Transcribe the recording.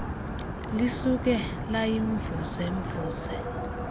lisuke layimvuze mvuze